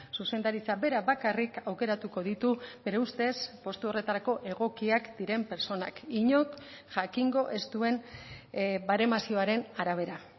zuzendaritzak berak bakarrik aukeratuko ditu bere ustez postu horretarako egokiak diren pertsonak inork jakingo ez duen baremazioaren arabera